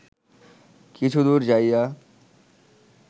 কিছুদূর যাইয়া